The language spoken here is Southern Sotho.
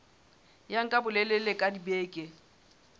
ya nka bolelele ba dibeke